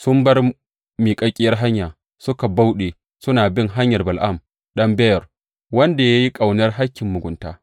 Sun bar miƙaƙƙiyar hanya suka bauɗe suna bin hanyar Bala’am ɗan Beyor, wanda ya yi ƙaunar hakkin mugunta.